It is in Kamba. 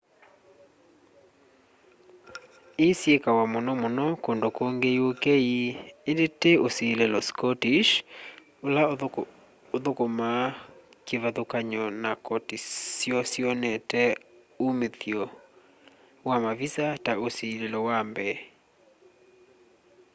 ĩĩ syĩkawa mũnomũno kũndũ kũngĩ ũk ĩndĩ tĩ ũsĩlĩlo scottish ũla ũthũkũma kĩvathũkanyo na kotĩ syo syonete ũmĩthyo wa mavisa ta ũsĩlĩlo wa mbee